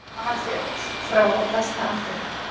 Svavar féll frá á besta aldri.